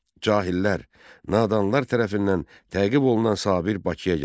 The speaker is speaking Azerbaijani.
Cahillər, nadanlar tərəfindən təqib olunan Sabir Bakıya gəldi.